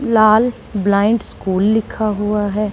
लाल blind school लिखा हुआ है।